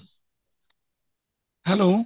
hello